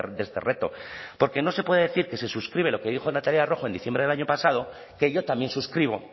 de este reto porque no se puede decir que se suscribe lo que dijo natalia rojo en diciembre del año pasado que yo también suscribo